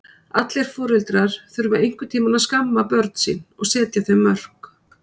Allir foreldrar þurfa einhvern tíma að skamma börn sín og setja þeim mörk.